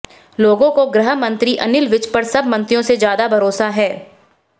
लोगों को गृह मंत्री अनिल विज पर सब मंत्रियों से ज्यादा भरोसा भराेसा है